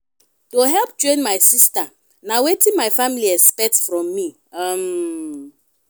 to help train my sista na wetin my family expect from me. um